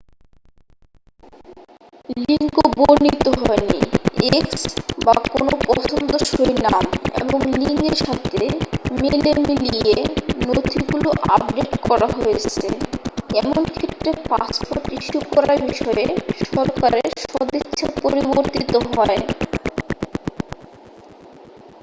লিঙ্গ বর্ণিত হয়নি x বা কোনও পছন্দসই নাম এবং লিঙ্গের সাথে মেলেমিলিয়ে নথিগুলি আপডেট কড়া হয়েছে এমন ক্ষেত্রে পাসপোর্ট ইস্যু করার বিষয়ে সরকারের সদিচ্ছা পরিবর্তিত হয়।